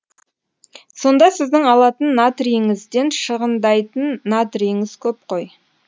сонда сіздің алатын натрийіңізден шығындайтын натрийіңіз көп қой